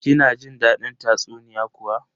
Kina jin dadin tatsuniya kuwa?